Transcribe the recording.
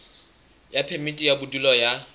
ya phemiti ya bodulo ya